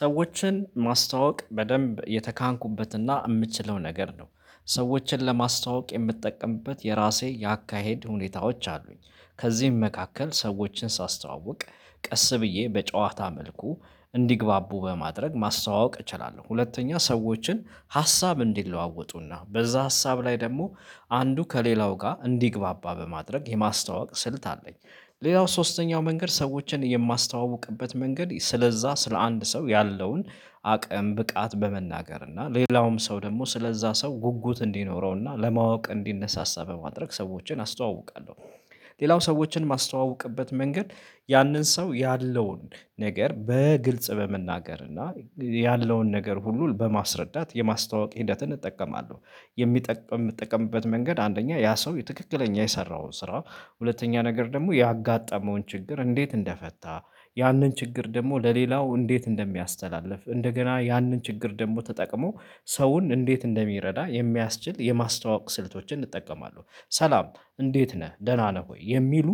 ሰዎችን ማስታወቅ በደንብ የተካንኩበትና የምችለው ነገር ነው። ሰዎችን ለማስታወቅ የምትጠቀምበት የራሴ የአካሄድ ሁኔታዎች አሉኝ። ከዚህም መካከል ሰዎችን ሳስተዋውቅ ቀስ ብዬ በጨዋታ መልኩ እንዲግባቡ በማድረግ ማስተዋወቅ እችላለሁ። ሁለተኛ ሰዎችን ሀሳብ እንዲለዋወጡና በዛ ሀሳብ ላይ ደግሞ አንዱ ከሌላው ጋር እንዲግባባ በማድረግ የማስታወቅ ስልት አለኝ። ሌላው ሶስተኛው መንገድ ሰዎችን የማስተዋውቅበት መንገድ ስለዛ ስለ አንድ ሰው ያለውን አቅም ብቃት በመናገር እና ሌላውም ሰው ደግሞ ስለዛ ሰው ጉጉት እንዲኖረው እና ለማወቅ እንዲነሳሳ በማድረግ ሰዎችን አስተዋውቃለሁ። ሌላው ሰዎችን ማስተዋወቅበት መንገድ ያንን ሰው ያለውን ነገር በግልጽ በመናገር እና ያለውን ነገር ሁሉ በማስረዳት የማስታወቂ ሂደትን እጠቀማለሁ። የሚጠቀም የምትጠቀምበት መንገድ አንደኛ ያ ሰው ትክክለኛ የሰራውን ስራ ሁለተኛ ነገር ደግሞ ያጋጠመውን ችግር እንዴት እንደፈታ ያንን ችግር ደግሞ ለሌላው እንዴት እንደሚያስተላልፍ እንደገና ያንን ችግር ደግሞ ተጠቅሞ ሰውን እንዴት እንደሚረዳ የሚያስችል የማስተዋወቅ ስልቶችን እጠቀማለሁ። ሰላም እንዴት ነህ ደህና ነህ ወይ የሚሉ